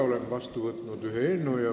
Olen vastu võtnud ühe eelnõu.